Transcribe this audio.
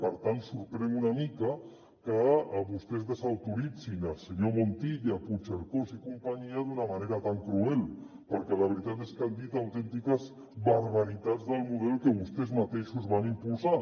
per tant sorprèn una mica que vostès desautoritzin els senyors montilla puigcercós i compa·nyia d’una manera tan cruel perquè la veritat és que han dit autèntiques barbaritats del model que vostès mateixos van impulsar